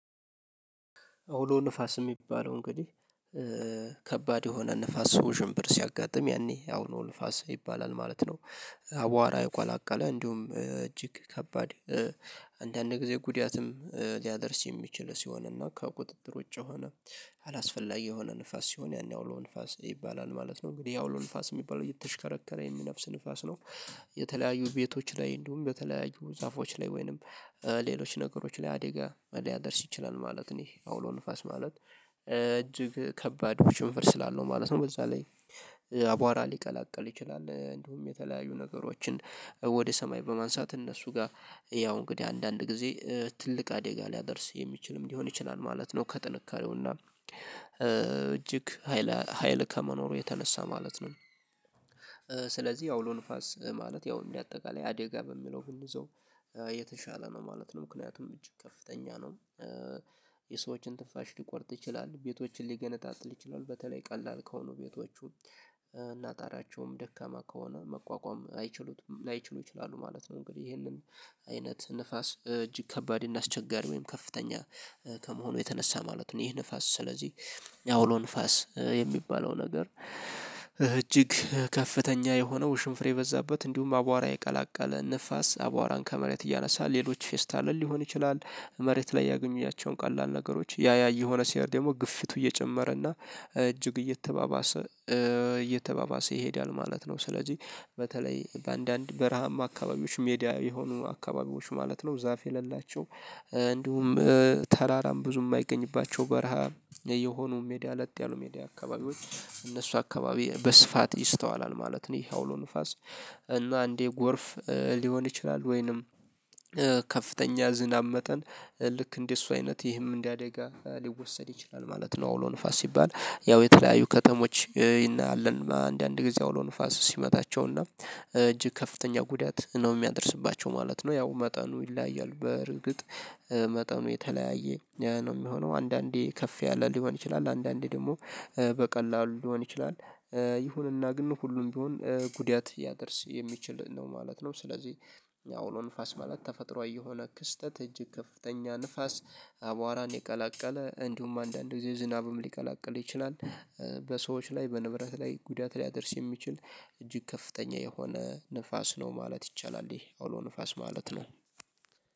አውሎ ንፋስ የሚባለው እንግዲህ ከባድ የሆነ ንፋስ ውዥምብር ሲያጋጥም ያኔ አውሎ ንፋስ ይባላል ማለት ነው። አዋራ የቀላቀለ እንዲሁም እጅግ ከባድ አንዳንድ ጊዜ ጉዳትም ሊያደርስ የሚችል ሲሆን እና ከቁጥጥር ውጪ የሆነ አላስፈላጊ የሆነ ንፋስ ሲሆን ያኔ አውሎ ንፋስ ይባላል ማለት ነው። እንግዲህ አውሎ ንፋስ የሚባለው እየተሽከረከረ የሚነፍስ ንፋስ ነው። የተለያዩ ቤቶች ላይ እንዲሁም በተለያዩ ዛፎች ላይ ወይንም ሌሎች ነገሮች ላይ አደጋ ሊያደርስ ይችላል ማለት ነው። ይህ አውሎ ንፋስ ማለት እጅግ ከባድ ውሽንፍር ስላለው ማለት ነው በዛ ላይ አቧራ ሊቀላቅል ይችላል። እንዲሁም የተለያዩ ነገሮችን ወደ ሰማይ በማንሳት እነሱ ጋር ያው እንግዲህ አንዳንድ ጊዜ ትልቅ አደጋ ሊያደርስ የሚችልም ሊሆን ይችላል ማለት ነው ከጥንካሬው እና እጅግ ሀይል ሀይል ከመኖሩ የተነሳ ማለት ነው። ስለዚህ አውሎ ንፋስ ማለት ያው እንዳጠቃላይ አደጋ በሚለው ብንይዘው የተሻለ ነው ማለት ነው። ምክንያቱም እጅግ ከፍተኛ ነው የሰዎችን ትንፋሽ ሊቆርጥ ይችላል። ቤቶችን ሊገነጣጥል ይችላል፤ በተለይ ቀላል ከሆኑ ቤቶቹ። እና ጣሪያቸውም ደካማ ከሆነ መቋቋም አይችሉትም ላይችሉ ይችላሉ ማለት ነው፤ እንግዲህ ይሄንን አይነት ንፋስ እጅግ ከባድ እና አስቸጋሪ ወይም ከፍተኛ ከመሆኑ የተነሳ ማለት ነው ይህ ንፋስ ስለዚህ አውሎ ንፋስ የሚባለው ነገር እጅግ ከፍተኛ የሆነው ውሽንፍር የበዛበት እንዲሁም አዏራ የቀላቀለ ንፋስ አዏራን ከመሬት እያነሳ ሌሎች ፌስታልን ሊሆን ይችላል መሬት ላይ ያገኟቸውን ቀላል ነገሮች ያ ያ እየሆነ ሲሄድ ደግሞ ግፊቱ እየጨመረ እና እጅግ እየተባባሰ እየተባባሰ ይሄዳል ማለት ነው። ስለዚህ በተለይ በአንዳንድ በረሃማ አካባቢዎች ሜዳ የሆኑ አካባቢዎች ማለት ነው ዛፍ የሌላቸው እንዲሁም ተራራም ብዙ የማይገኝባቸው በረሃ የሆኑ ሜዳ ለጥ ያሉ ሜዳ አካባቢዎች እነሱ አካባቢ በስፋት ይስተዋላል ማለት ነው ይሄ አውሎ ንፋስ። እና አንዴ ጎርፍ ሊሆን ይችላል፤ ወይንም ከፍተኛ ዝናብ መጠን ልክ እንደሱ አይነት ይህም እንደ አደጋ ሊወሰድ ይችላል ማለት ነው አውሎ ንፋስ ሲባል ያው የተለያዩ ከተሞች እናያለን አንዳንድ ጊዜ አውሎ ንፋስ ሲመታቸውና እጅግ ከፍተኛ ጉዳት ነው የሚያደርስባቸው ማለት ነው። ያው መጠኑ ይለያያል በርግጥ መጠኑ የተለያየ ነው የሚሆነው አንዳንዴ ከፍ ያለ ሊሆን ይችላል፤ አንዳንዴ ደግሞ በቀላሉ ሊሆን ይችላል። ይሁንና ግን ሁሉም ቢሆን ጉዳት ያደርስ የሚችል ነው ማለት ነው። ስለዚህ አውሎ ንፋስ ማለት ተፈጥሯዊ የሆነ ክስተት እጅግ ከፍተኛ ንፋስ አዏራን የቀላቀለ፣ እንዲሁም አንዳንድ ጊዜ ዝናብም ሊቀላቅል ይችላል። በሰዎች ላይ በንብረት ላይ ጉዳት ሊያደርስ የሚችል እጅግ ከፍተኛ የሆነ ንፋስ ነው ማለት ይቻላል፤ ይህ አውሎ ንፋስ ማለት ነው።